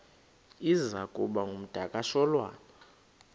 iza kuba ngumdakasholwana